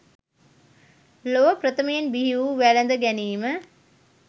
ලොව ප්‍රථමයෙන් බිහිවූ වැළඳ ගැනීම